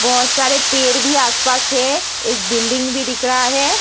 बहोत सारे पेड़ भी आसपास है। एक बिल्डिंग भी दिख रहा है।